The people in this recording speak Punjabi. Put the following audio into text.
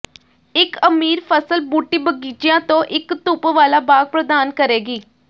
ਇੱਕ ਅਮੀਰ ਫਸਲ ਬੂਟੀ ਬਗੀਚਿਆਂ ਤੋਂ ਇੱਕ ਧੁੱਪ ਵਾਲਾ ਬਾਗ ਪ੍ਰਦਾਨ ਕਰੇਗੀ